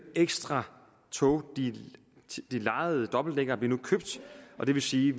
ekstra tog de lejede dobbeltdækkere blev nu købt og det vil sige